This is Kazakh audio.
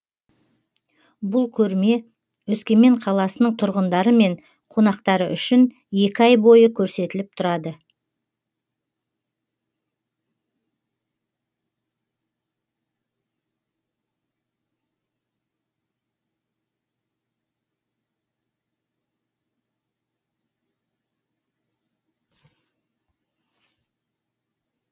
бұл көрме өскемен қаласының тұрғындары мен қонақтары үшін екі ай бойы көрсетіліп тұрады